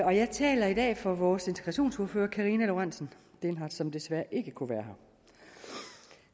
jeg taler i dag for vores integrationsordfører fru karina lorentzen dehnhardt som desværre ikke kunne være her